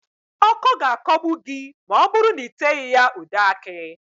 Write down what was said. Ọ́kọ́ ga-akọgbu gị ma ọ bụrụ na ị teghị ya ude akị